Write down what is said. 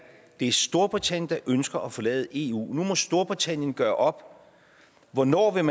det er storbritannien der ønsker at forlade eu nu må storbritannien gøre op hvornår man